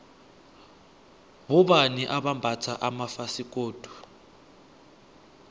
bobani abambatha amafasikodu